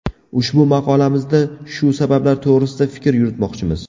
Ushbu maqolamizda shu sabablar to‘g‘risida fikr yuritmoqchimiz.